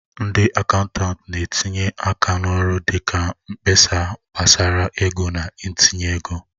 Ndị akaụntanti na-etinye aka n'ọrụ dị ka mkpesa gbasara ego na itinye ego.